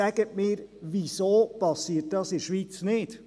Sagen Sie mir, wieso dies in der Schweiz nicht geschieht!